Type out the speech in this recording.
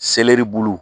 Selɛri bulu